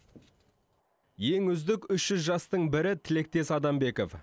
ең үздік үш жүз жастың бірі тілектес адамбеков